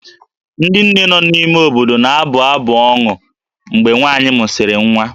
Ndị nne nọ n'ime obodo na-abụ abụ ọnụ mgbe nwaanyị mụsịrị nwa